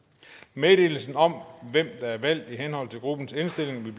meddelelse om hvem der er valgt i henhold til gruppens indstilling vil